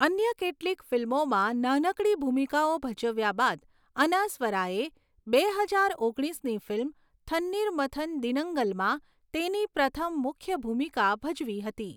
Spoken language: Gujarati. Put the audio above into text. અન્ય કેટલીક ફિલ્મોમાં નાનકડી ભૂમિકાઓ ભજવ્યા બાદ, અનાસ્વરાએ બે હજાર ઓગણીસની ફિલ્મ 'થન્નીર મથન દિનંગલ'માં તેની પ્રથમ મુખ્ય ભૂમિકા ભજવી હતી.